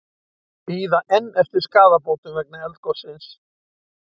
Bíða enn eftir skaðabótum vegna eldgossins